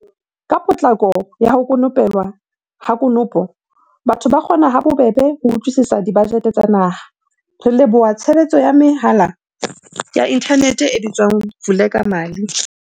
Ka potlako ya ho ko pelwa ha konopo, batho ba kgona ha bobebe ho utlwisisa dibajete tsa naha, re leboha tshebetso ya mehala ya inthanete e bitswang Vulekamali.